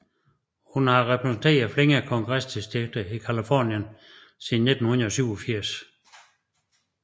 Hun har repræsenteret flere kongresdistrikter i Californien siden 1987